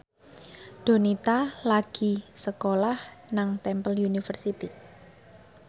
Donita lagi sekolah nang Temple University